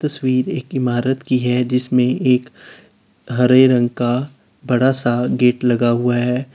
तस्वीर एक इमारत की है जिसमें एक हरे रंग का बड़ा सा गेट लगा हुआ है।